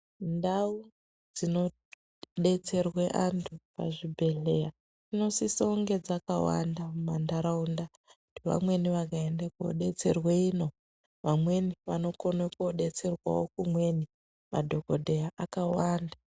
Ndau dzinodetserwe antu pazvibhedhleya dzinosise kunge dzakawanda mumantaraunda, kuti vamweni vakaende kodetserwe ino, vamweni vanokone kodetserwawo kumweni. Madhokodheya akawanda.